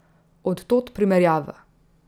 Od tod primerjava.